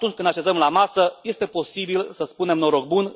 atunci când ne așezăm la masă, este posibil să spunem Noroc bun!,